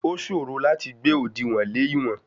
Ó ṣòro láti gbé òdìwọ̀n lè ìwọ̀n.